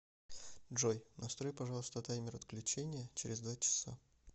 джой настрой пожалуйста таймер отключения через два часа